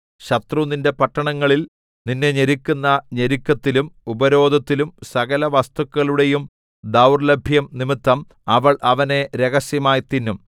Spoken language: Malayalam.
ശത്രു നിന്റെ പട്ടണങ്ങളിൽ നിന്നെ ഞെരുക്കുന്ന ഞെരുക്കത്തിലും ഉപരോധത്തിലും സകലവസ്തുക്കളുടെയും ദൗർലഭ്യം നിമിത്തം അവൾ അവരെ രഹസ്യമായി തിന്നും